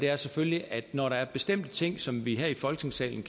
er selvfølgelig at når der er bestemte ting som vi her i folketingssalen